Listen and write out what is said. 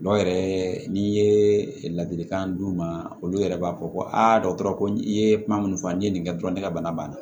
Dɔw yɛrɛ n'i ye ladilikan d'u ma olu yɛrɛ b'a fɔ ko aa dɔgɔtɔrɔ ko i ye kuma mun fɔ n'i ye nin kɛ dɔrɔn ne ka bana banna